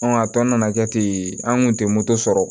a tɔ nana kɛ ten an kun tɛ moto sɔrɔ